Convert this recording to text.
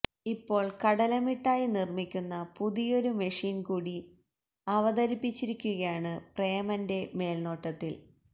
ഇപ്പോള് കടല മിഠായി നിര്മിക്കുന്ന പുതിയൊരു മെഷീന് കൂടി അവതരിപ്പിച്ചിരിക്കുകയാണ് പ്രേമന്റെ മേല്നോട്ടത്തില്